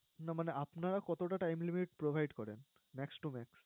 না মানে আপনারা কতোটা time limit provide করেন? max to max